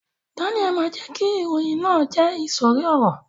Daniel ma jẹ ki ìròyìn náà jẹ isori ọrọ.